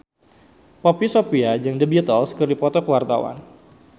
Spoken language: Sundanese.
Poppy Sovia jeung The Beatles keur dipoto ku wartawan